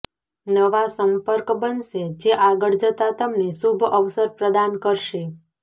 નવા સંપર્ક બનશે જે આગળ જતા તમને શુભ અવસર પ્રદાન કરશે